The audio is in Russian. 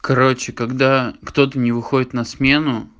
короче когда кто-то не выходит на смену